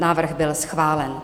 Návrh byl schválen.